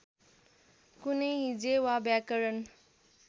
कुनै हिज्जे वा व्याकरण